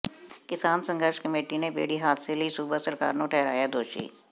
ਕਿਸਾਨ ਸੰਘਰਸ਼ ਕਮੇਟੀ ਨੇ ਬੇੜੀ ਹਾਦਸੇ ਲਈ ਸੂਬਾ ਸਰਕਾਰ ਨੂੰ ਠਹਿਰਾਇਆ ਦੋਸ਼ੀ